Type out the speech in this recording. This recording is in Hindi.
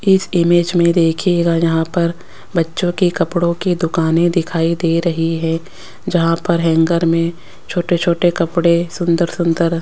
इस इमेज में देखिएगा यहां पर बच्चों की कपड़ों की दुकानें दिखाई दे रहीं हैं जहां पर हैंगर में छोटे छोटे कपड़े सुंदर सुंदर --